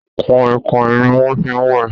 Kọ̀ìkọ̀ìn ni wọ́n fi ń wẹ̀